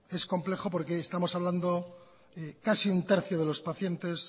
es complejo porque estamos hablando de casi un tercio de los pacientes